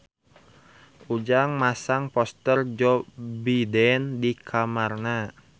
Ujang masang poster Joe Biden di kamarna